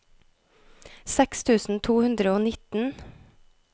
seks tusen to hundre og nitten